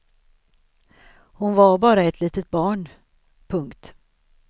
Hon var bara ett litet barn. punkt